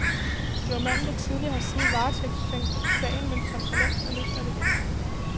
Det var manden, der tidligere har siddet varetægtsfængslet i sagen, men som for længst er løsladt igen.